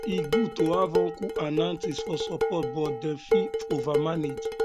e um good to have uncles and have uncles and aunties um for support but um dem fit overmanage